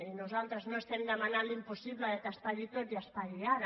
i nosaltres no demanem l’impossible que es pagui tot i es pagui ara